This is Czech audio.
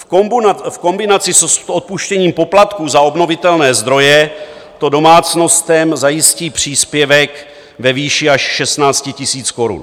V kombinaci s odpuštěním poplatků za obnovitelné zdroje to domácnostem zajistí příspěvek ve výši až 16 000 korun.